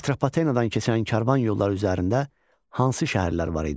Atropatenadan keçən karvan yolları üzərində hansı şəhərlər var idi?